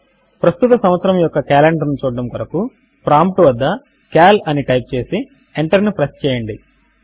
ప్రస్తుత సంవత్సరము యొక్క కాలెండర్ ను చూడడము కొరకు ప్రాంప్ట్ వద్ద సీఏఎల్ అని టైప్ చేసి ఎంటర్ ను ప్రెస్ చేయండి